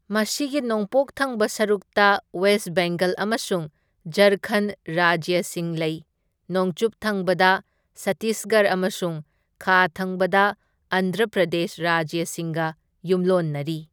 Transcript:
ꯃꯁꯤꯒꯤ ꯅꯣꯡꯄꯣꯛ ꯊꯪꯕ ꯁꯔꯨꯛꯇ ꯋꯦꯁ ꯕꯦꯡꯒꯜ ꯑꯃꯁꯨꯡ ꯓꯔꯈꯟ ꯔꯥꯖ꯭ꯌꯁꯤꯡ ꯂꯩ, ꯅꯣꯡꯆꯨꯞ ꯊꯪꯕꯗ ꯁꯠꯇꯤꯁꯒꯔ ꯑꯃꯁꯨꯡ ꯈꯥ ꯊꯪꯕꯗ ꯑꯟꯙ꯭ꯔ ꯄ꯭ꯔꯗꯦꯁ ꯔꯥꯖ꯭ꯌꯁꯤꯡꯒ ꯌꯨꯝꯂꯣꯟꯅꯔꯤ꯫